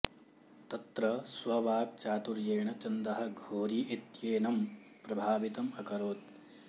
तत्र स्ववाक् चातुर्येण चन्दः घोरी इत्येनं प्रभावितम् अकरोत्